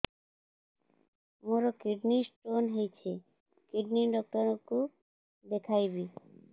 ମୋର kidney stone ହେଇଛି kidney doctor କୁ ଦେଖାଇବି